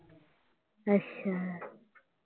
ਅੱਛਾ।